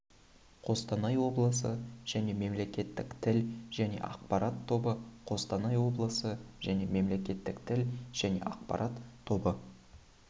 қостанай облысы және мемлекеттік тіл және ақпарат тобы қостанай облысы және мемлекеттік тіл және ақпарат тобы